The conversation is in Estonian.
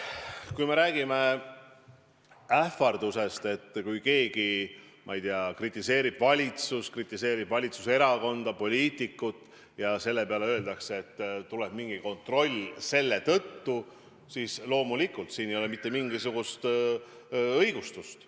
Kui me räägime ähvardusest, sellest, et keegi, ma ei tea, kritiseerib valitsust, kritiseerib valitsuserakonda või sinna kuuluvat poliitikut ja selle peale öeldakse, et nüüd tuleb mingi kontroll, siis loomulikult sellele ei ole mitte mingisugust õigustust.